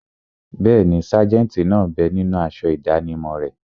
Bẹ́ẹ̀ni, sájẹ̀ntì náà bẹ ninú aṣọ ìdánimọ̀ rẹ̀